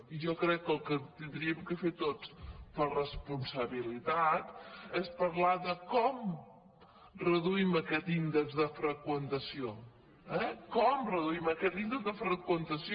i jo crec que el que hauríem de fer tots per responsabilitat és parlar de com reduïm aquest índex de freqüentació eh com reduïm aquest índex de freqüentació